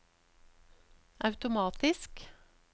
automatisk